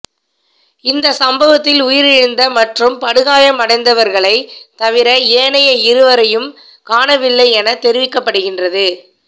இந்த சம்பவத்தில் உயிரிழந்த மற்றும் படுகாயமடைந்தவர்களை தவிர ஏனைய இருவரையும் காணவில்லை என தெரிவிக்கப்படுகின்றது